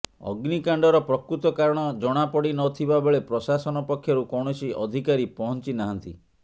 ଅଗ୍ନିକାଣ୍ଡର ପ୍ରକୃତ କାରଣ ଜଣାପଡ଼ି ନଥିବା ବେଳେ ପ୍ରଶାସନ ପକ୍ଷରୁ କୌଣସି ଅଧିକାରୀ ପହଞ୍ଚି ନାହାନ୍ତି